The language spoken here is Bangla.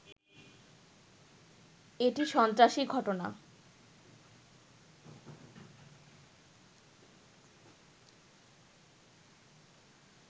এটি সন্ত্রাসী ঘটনা